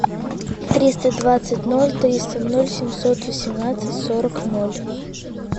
триста двадцать ноль триста ноль семьсот восемнадцать сорок ноль